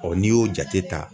Ɔ n'i y'o jate ta